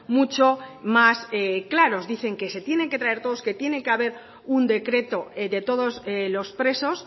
mucho más claros dicen que se tienen que traer todos que tiene que haber un decreto de todos los presos